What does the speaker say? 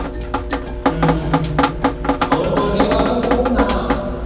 ਹਮ ਹੋਰ ਗੋਲਡੀ ਪਾ ਤੂੰ ਕਿੱਥੇ ਹੁੰਦਾ ਹੈ?